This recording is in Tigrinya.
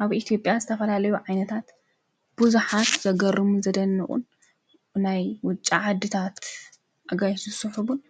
ኣብ ኢቲጴያ ዝተፈላለዩ ዓይነታት ብዙኃት ዘገርሙ ዘደንቑን ናይ ውጫ ዓድታት ኣጋይትስሑቡን